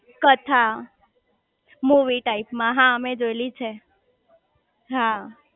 કથા movie type માં હા મેં જોયેલી છે હા